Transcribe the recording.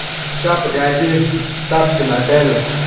сейчас погоди тапки напялю